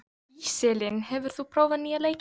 Íselín, hefur þú prófað nýja leikinn?